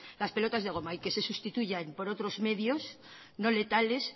las pelotas de goma y que se sustituyan por otros medios no letales